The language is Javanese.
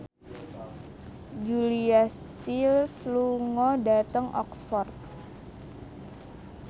Julia Stiles lunga dhateng Oxford